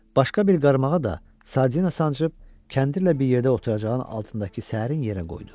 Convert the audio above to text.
Başqa bir qarmağa da sardina sancıb kəndirlə bir yerdə oturacağın altındakı səərin yerə qoydu.